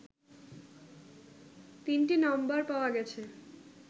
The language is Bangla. তিনটি নাম্বার পাওয়া গেছে